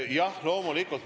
Jah, loomulikult.